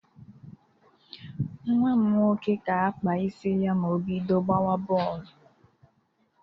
Nwa m nwoke ga-akpa isi ya ma o bido gbawa bọọlụ